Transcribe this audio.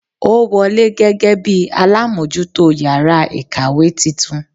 Ó wọlé gẹ́gẹ́ bíi alámójútó yàrá ìkàwé titun